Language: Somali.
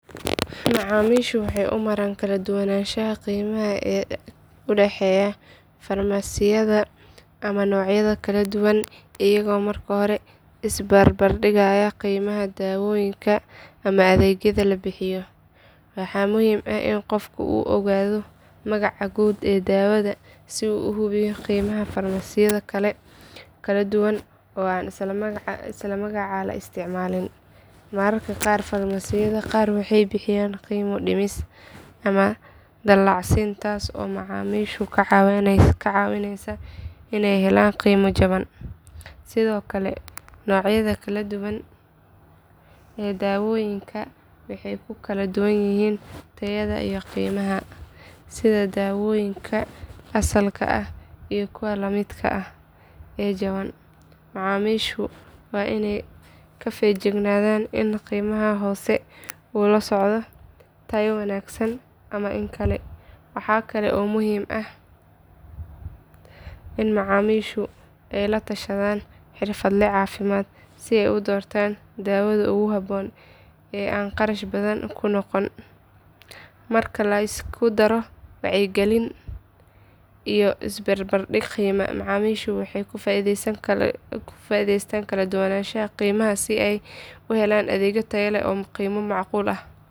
Macaamiishu waxay u maraan kala duwanaanshaha qiimaha ee u dhexeeya farmasiyada ama noocyada kala duwan iyagoo marka hore is barbardhigaya qiimaha daawooyinka ama adeegyada la bixiyo. Waxa muhiim ah in qofka uu ogaado magaca guud ee daawada si uu u hubiyo qiimaha farmasiyo kala duwan oo aan isla magaca la isticmaalin. Mararka qaar farmasiyada qaar waxay bixiyaan qiimo dhimis ama dallacsiin taas oo macaamiisha ka caawinaysa inay helaan qiimo jaban. Sidoo kale noocyada kala duwan ee daawooyinka waxay ku kala duwan yihiin tayada iyo qiimaha, sida daawooyinka asalka ah iyo kuwa la midka ah ee jaban. Macaamiishu waa inay ka feejignaadaan in qiimaha hoose uu la socdo tayo wanaagsan ama in kale. Waxaa kale oo muhiim ah in macaamiishu ay la tashadaan xirfadle caafimaad si ay u doortaan daawada ugu habboon ee aan kharash badan ku noqon. Marka la isku daro wacyigelin iyo isbarbardhig qiime, macaamiishu waxay ka faa’iidaystaan kala duwanaanshaha qiimaha si ay u helaan adeeg tayo leh oo qiimo macquul ah.